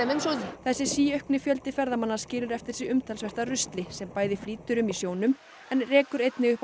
þessi síaukni fjöldi ferðamanna skilur eftir sig umtalsvert af rusli sem bæði flýtur um í sjónum en rekur einnig upp á